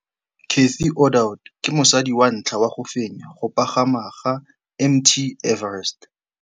Cathy Odowd ke mosadi wa ntlha wa go fenya go pagama ga Mt Everest.